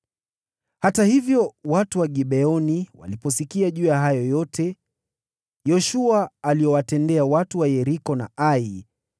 Hata hivyo, watu wa Gibeoni waliposikia juu ya hayo yote Yoshua aliyowatendea watu wa Yeriko na Ai,